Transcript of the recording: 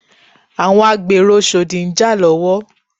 Àwọn agbèrò oshodi ń jà lọ́wọ́